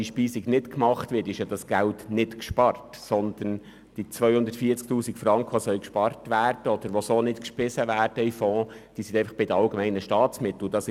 Dieses Geld wird ausserdem nicht gespart, wenn die Speisung nicht gemacht wird, sondern die 240 000 Franken sind einfach bei den allgemeinen Staatsmitteln anfallen.